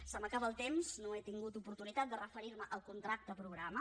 se m’acaba el temps no he tingut oportunitat de referir me al contracte programa